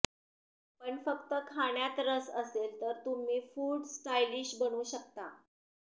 पण फक्त खाण्यात रस असेल तर तुम्ही फूड स्टाइलिश बनू शकता